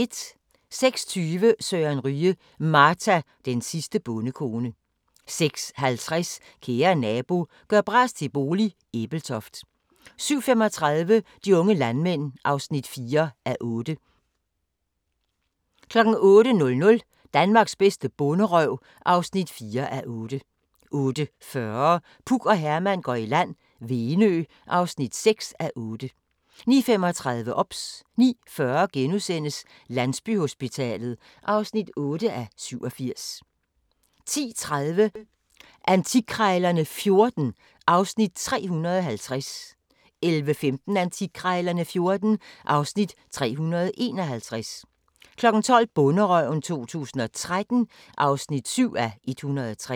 06:20: Søren Ryge: Marta, den sidste bondekone 06:50: Kære nabo – gør bras til bolig – Ebeltoft 07:35: De unge landmænd (4:8) 08:00: Danmarks bedste bonderøv (4:8) 08:40: Puk og Herman går i land - Venø (6:8) 09:35: OBS 09:40: Landsbyhospitalet (8:87)* 10:30: Antikkrejlerne XIV (Afs. 350) 11:15: Antikkrejlerne XIV (Afs. 351) 12:00: Bonderøven 2013 (7:103)